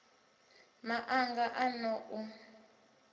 ma anga a n ou